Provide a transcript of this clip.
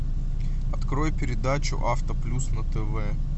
открой передачу автоплюс на тв